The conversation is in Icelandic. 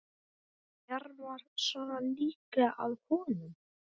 Þjarmar svona líka að honum!